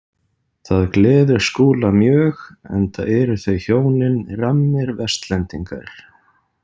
Það gleður Skúla mjög enda eru þau hjónin rammir Vestlendingar.